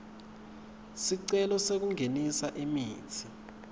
sicelo sekungenisa imitsi